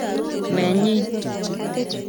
Nenyi.